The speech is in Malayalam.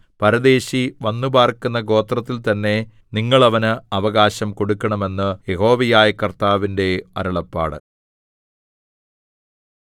പരദേശി വന്നുപാർക്കുന്ന ഗോത്രത്തിൽതന്നെ നിങ്ങൾ അവന് അവകാശം കൊടുക്കണം എന്ന് യഹോവയായ കർത്താവിന്റെ അരുളപ്പാട്